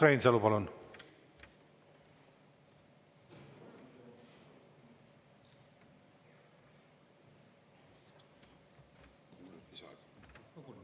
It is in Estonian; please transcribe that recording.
Urmas Reinsalu, palun!